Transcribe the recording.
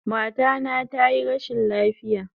Mata na tayi rashin lafiya